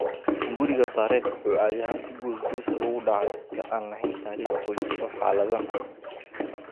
hunguriga Barrett wuxuu caadi ahaan si goos-goos ah ugu dhacaa dadka aan lahayn taariikh qoys oo xaaladdan ah.